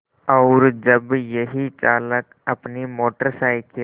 और जब यही चालक अपनी मोटर साइकिल